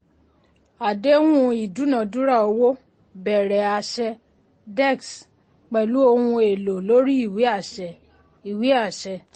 àdéhùn ìdúnádúrà owó bẹ̀rẹ̀ àṣẹ dex pẹ̀lú ohun èlò lórí ìwé àṣẹ. ìwé àṣẹ.